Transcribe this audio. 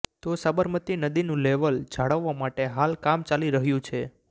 તો સાબરમતી નદીનું લેવલ જાળવવા માટે હાલ કામ ચાલી રહ્યું છે